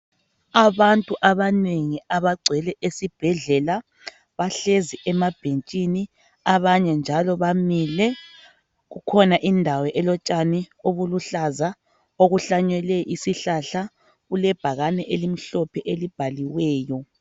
Abantu abanengi abagcwele esibhedlela bahlezi emabhentshini abanye njalo bamile. Kukhona indawo elotshani obuluhlaza okuhlanyelwe isihlahla. Kulebhakane elimhlophe elibhaliweyo.